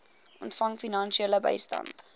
ontvang finansiële bystand